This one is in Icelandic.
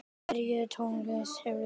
Hvernig tónlist verður flutt?